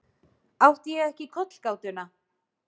Átti ég ekki kollgátuna?